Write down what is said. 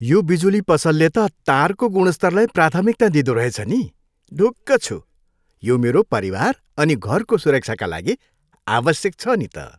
यो बिजुली त पसलले तारको गुणस्तरलाई प्राथमिकता दिँदो रहेछ नि। ढुक्क छु। यो मेरो परिवार अनि घरको सुरक्षाका लागि आवश्यक छ नि त।